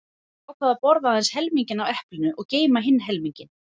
Ég ákvað að borða aðeins helminginn af eplinu og geyma hinn helminginn.